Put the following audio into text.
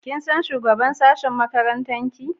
Kin san shugaban sashen makarantarka?